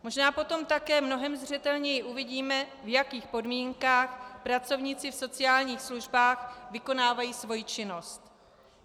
Možná potom také mnohem zřetelněji uvidíme, v jakých podmínkách pracovníci v sociálních službách vykonávají svoji činnost.